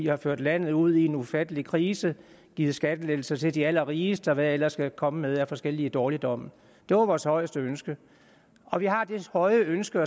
har ført landet ud i en ufattelig krise givet skattelettelser til de allerrigeste og hvad de ellers er kommet med af forskellige dårligdomme det var vores højeste ønske og vi har det høje ønske